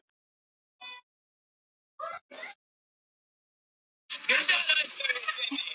Nikki þakkaði henni fyrir og gekk í burtu.